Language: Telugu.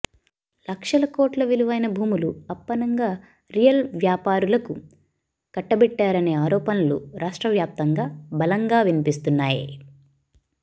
లక్షల కోట్ల విలువైన భూములు అప్పనంగా రియల్ వ్యాపారులకు కట్టబెట్టారనే ఆరోపణలూ రాష్ట్ర వ్యాప్తంగా బలంగా వినిపిస్తున్నాయి